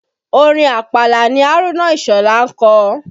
Orin àpàlà ni Haruna Isola ń kọ